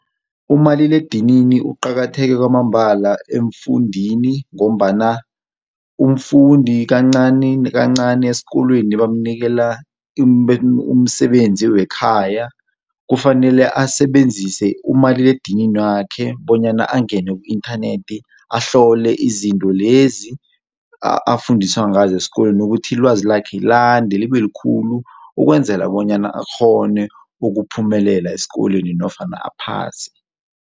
Umaliledinini uqakatheke kwamambala emfundini ngombana umfundi kancani kancani esikolweni bamnikela umsebenzi wekhaya, kufanele asebenzise umaliledinini wakhe bonyana angene ku-inthanethi ahlole izinto lezi afundiswa ngazo esikolweni ukuthi ilwazi lakhe lande libe likhulu ukwenzela bonyana akghone ukuphumelela esikolweni nofana aphase.